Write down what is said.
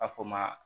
A fɔ o ma